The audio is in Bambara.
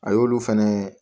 A y'olu fɛnɛ